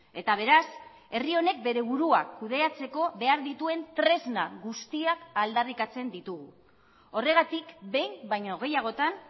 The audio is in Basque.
eta beraz herri honek bere burua kudeatzeko behar dituen tresna guztiak aldarrikatzen ditugu horregatik behin baino gehiagotan